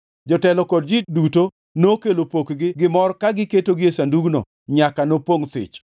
Jotelo kod ji duto nokelo pokgi gi mor ka giketogi e sandugno nyaka nopongʼ thich.